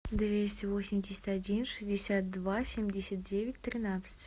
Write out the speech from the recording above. двести восемьдесят один шестьдесят два семьдесят девять тринадцать